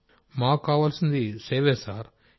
రాజేష్ ప్రజాపతి మాకు కావలసింది సేవే సార్